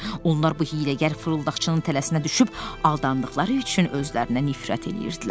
Onlar bu hiyləgər fırıldaqçının tələsinə düşüb aldandıqları üçün özlərinə nifrət eləyirdilər.